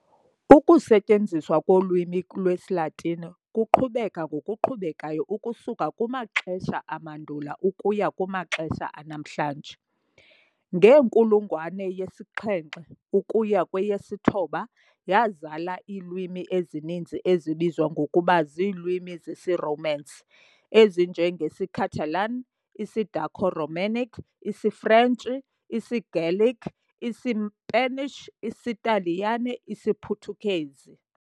Ukusetyenziswa kolwimi lwesiLatini kuqhubeka ngokuqhubekayo ukusuka kumaxesha amandulo ukuya kumaxesha anamhlanje. Ngenkulungwane yesi-7 ukuya kweyesi-9 yazala iilwimi ezininzi ezibizwa ngokuba ziilwimi zesiRomance, ezinje ngesiCatalan, isiDaco-Romanic, isiFrentshi, isiGallic, iSpanish, isiTaliyane, isiPhuthukezi.